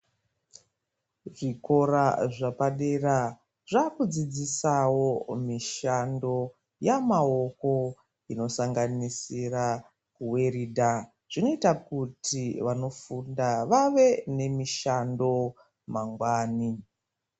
Zvikora zvepadera zvakudzidzisawo mishando yamaoko inosanganisira kuweridha zvinoita kuti vanofunda vave nemishando mangani.